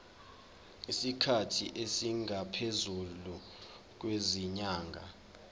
isikhathi esingaphezulu kwezinyanga